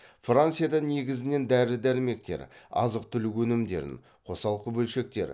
франциядан негізінен дәрі дәрмектер азық түлік өнімдерін қосалқы бөлшектер